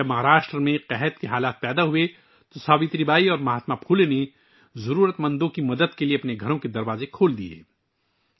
جب مہاراشٹر میں قحط پڑا تو ساوتری بائی اور مہاتما پھولے نے ضرورت مندوں کی مدد کے لیے اپنے گھروں کے دروازے کھول دیے